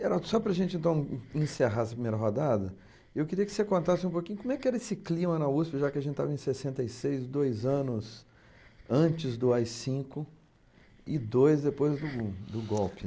Geraldo, só para a gente então encerrar essa primeira rodada, eu queria que você contasse um pouquinho como é que era esse clima na USP, já que a gente estava em sessenta e seis, dois anos antes do á i cinco e dois depois do gun do golpe.